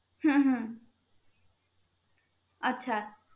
হম আচ্ছা